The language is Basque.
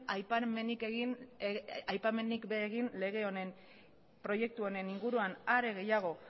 aipamenik ere egin lege honen proiektu honen inguruan are gehiago